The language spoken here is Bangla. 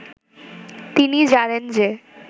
তিনি জানেন যে